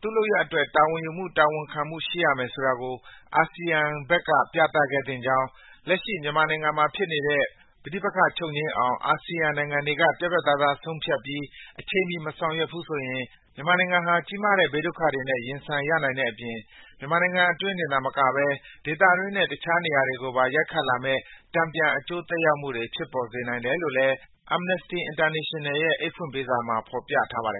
သူ့လုပ်ရပ်တွေအတွက် တာဝန်ယူမှု၊ တာဝန်ခံမှု ရှိရမယ်ဆိုတာကို အာဆီယံဘက်က ပြသခဲ့သင့်ကြောင်း၊ လက်ရှိ မြန်မာနိုင်ငံမှာဖြစ်နေတဲ့ ပဋိပက္ခ ချုပ်ငြိမ်းအောင် အာဆီယံနိုင်ငံတွေက ပြတ်ပြတ်သားသား ဆုံးဖြတ်ပြီး အချိန်မီ မဆောင်ရွက်နိုင်ဘူးဆိုရင် မြန်မာနိုင်ငံဟာ ကြီးမားတဲ့ ဘေးဒုက္ခတွေနဲ့ ရင်ဆိုင်ရနိုင်တဲ့အပြင် မြန်မာနိုင်ငံအတွင်းတင်သာမကဘဲ ဒေသတွင်းနဲ့ တခြားနေရာတွေကိုပါ ရိုက်ခတ်လာမယ့် တန်ပြန် အကျိုးသက်ရောက်မှုတွေ ဖြစ်ပေါ်စေနိုင်တယ်လို့ Amnesty International ရဲ့ အိတ်ဖွင့်ပေးစာမှာ ဖော်ပြထားပါတယ်